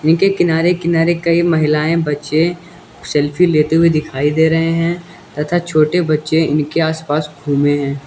जिनके किनारे किनारे कई महिलाएं बच्चे सेल्फी लेते हुए दिखाई दे रहे हैं तथा छोटे बच्चे इनके आसपास घूमे हैं।